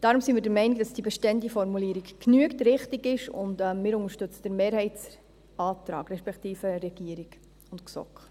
Deshalb sind wir der Meinung, dass die bestehende Formulierung genügt, richtig ist, und wir unterstützen den Mehrheitsantrag, respektive denjenigen von Regierung und GSoK.